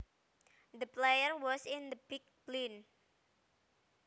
The player was in the big blind